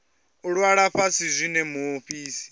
u ṅwala fhasi zwine muofisi